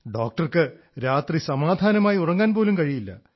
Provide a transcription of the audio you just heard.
ഡോക്ടർക്ക് രാത്രി സമാധാനമായി ഉറങ്ങാൻപോലും കഴിയില്ല